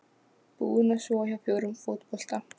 Búin að sofa hjá fjórum fótbolta